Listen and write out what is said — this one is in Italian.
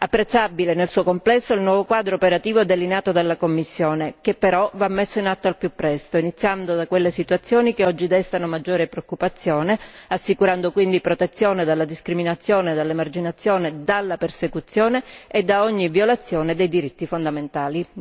Apprezzabile, nel suo complesso, il nuovo quadro operativo delineato dalla Commissione, che però va messo in atto al più presto iniziando da quelle situazioni che oggi destano maggiore preoccupazione, assicurando quindi protezione dalla discriminazione e dall'emarginazione, dalla persecuzione e da ogni violazione dei diritti fondamentali.